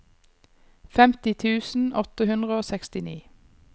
femti tusen åtte hundre og sekstini